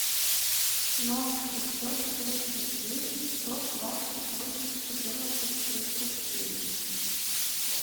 ноль шестьсот тридцать девять сто двадцать восемь четырнадцать тридцать девять